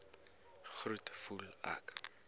groet voel ek